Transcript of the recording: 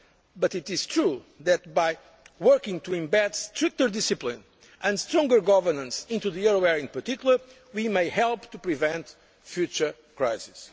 But it is true that, by working to embed stricter discipline and stronger governance into the euro area in particular, we may help to prevent a future crisis.